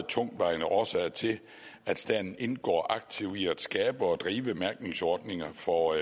tungtvejende årsager til at staten indgår aktivt i at skabe og drive mærkningsordninger for